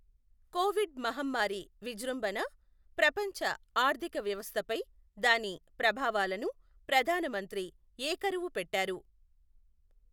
Covid మహమ్మారి విజృంభణ, ప్రపంచ ఆర్థిక వ్యవస్థపై దాని ప్రభావాలను ప్రధానమంత్రి ఏకరువు పెట్టారు.